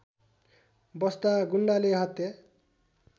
बस्दा गुण्डाले हत्या